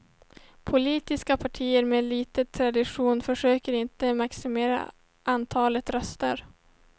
Politiska partier med lite tradition försöker inte maximera antalet röster.